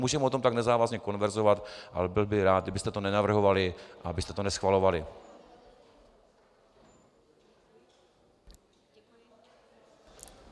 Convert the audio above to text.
Můžeme o tom tak nezávazně konverzovat, ale byl bych rád, kdybyste to nenavrhovali a abyste to neschvalovali.